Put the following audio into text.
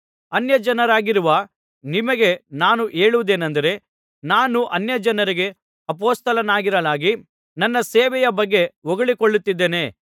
ಅನ್ಯಜನರಾಗಿರುವ ನಿಮಗೆ ನಾನು ಹೇಳುವುದೇನಂದರೆ ನಾನು ಅನ್ಯಜನರಿಗೆ ಅಪೊಸ್ತಲನಾಗಿರಲಾಗಿ ನನ್ನ ಸೇವೆಯ ಬಗ್ಗೆ ಹೊಗಳಿಕೊಳ್ಳುತ್ತಿದ್ದೇನೆ